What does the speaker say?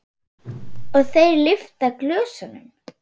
Og þeir lyfta glösum.